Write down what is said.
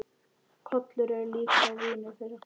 Kolur er líka vinur þeirra.